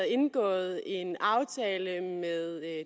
indgået en aftale med